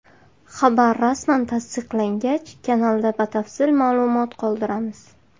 Xabar rasman tasdiqlangach kanalda batafsil maʼlumot qoldiramiz.